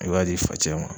I b'a di facɛ ma